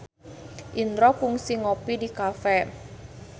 Indro kungsi ngopi di cafe